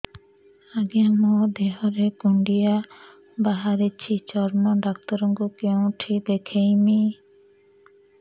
ଆଜ୍ଞା ମୋ ଦେହ ରେ କୁଣ୍ଡିଆ ବାହାରିଛି ଚର୍ମ ଡାକ୍ତର ଙ୍କୁ କେଉଁଠି ଦେଖେଇମି